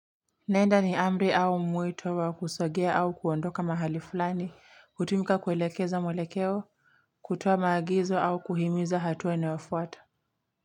Nenda ni amri au mwito wa kusogea au kuondoka mahali fulani, kutumika kuelekeza mwelekeo, kutoa magizo au kuhimiza hatua inayofuata.